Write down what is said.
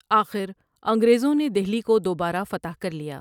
آخر انگریزوں نے دہلی کو دوبارہ فتح کر لیا ۔